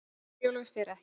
Herjólfur fer ekki